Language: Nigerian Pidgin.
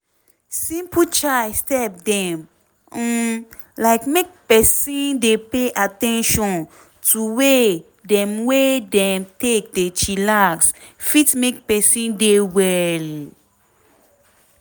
simple chai step dem um like make peson dey pay at ten tion to way dem wey dem take dey chillax fit make peson dey well.